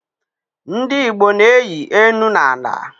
Ndi Igbo na-eyi enu na ala